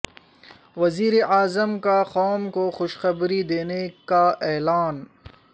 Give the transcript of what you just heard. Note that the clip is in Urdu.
وزیر اعظم کا قوم کو خوشخبری دینے کا اعلان